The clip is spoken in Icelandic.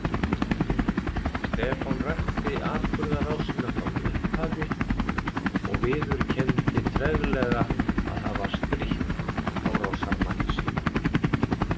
Stefán rakti atburðarásina frá upphafi og viðurkenndi treglega að hafa strítt árásarmanni sínum.